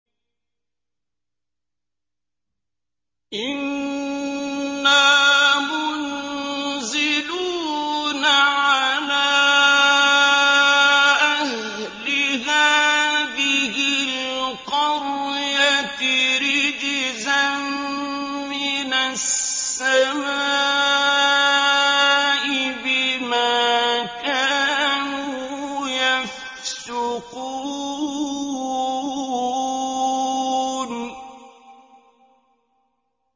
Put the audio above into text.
إِنَّا مُنزِلُونَ عَلَىٰ أَهْلِ هَٰذِهِ الْقَرْيَةِ رِجْزًا مِّنَ السَّمَاءِ بِمَا كَانُوا يَفْسُقُونَ